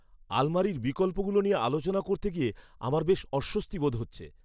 আলমারির বিকল্পগুলো নিয়ে আলোচনা করতে গিয়ে আমার বেশ অস্বস্তি বোধ হচ্ছে।